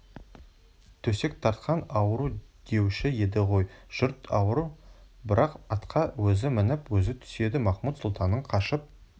төсек тартқан ауру деуші еді ғой жұрт ауру бірақ атқа өзі мініп өзі түседі махмуд-сұлтанның қашып